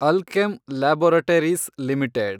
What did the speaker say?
Alkem Laboratories limited